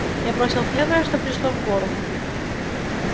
я бросил первое что пришло в голову